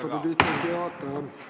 Aitäh, lugupeetud istungi juhataja!